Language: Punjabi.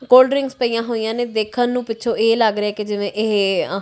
ਕੋਲਡ ਡਰਿੰਕਸ ਪਈਆਂ ਹੋਈਆਂ ਨੇ ਦੇਖਣ ਨੂੰ ਪਿੱਛੋਂ ਇਹ ਲੱਗ ਰਿਹਾ ਕਿ ਜਿਵੇਂ ਇਹ --